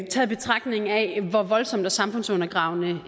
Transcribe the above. hvor voldsomme og samfundsundergravende